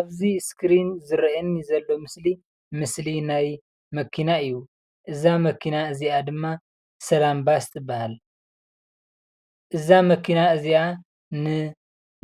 ኣብዚ እስክሪን ዝረአየኒ ዘሎ ምስሊ ምስሊ ናይ መኪና እዩ። እዛ መኪና እዚኣ ድማ ሰላም ባስ ትባሃል። እዛ መኪና እዚኣ